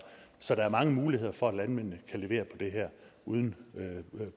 så der er mange muligheder for at landmændene kan levere på det her uden